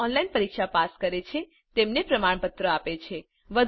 જેઓ ઓનલાઇન પરીક્ષા પાસ કરે છે તેમને પ્રમાણપત્ર આપે છે